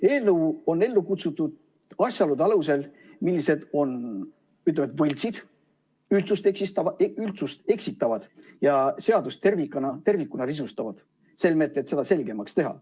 Eelnõu on ellu kutsutud asjaolude alusel, mis on, ütleme, võltsid, üldsust eksitavad ja seadust tervikuna risustavad, selmet seda selgemaks teha.